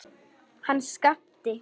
Hann Skapti!